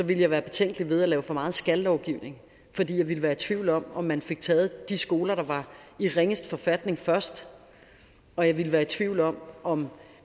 ville jeg være betænkelig ved at lave for meget skal lovgivning fordi jeg ville være i tvivl om om man fik taget de skoler der var i ringest forfatning først og jeg ville være i tvivl om om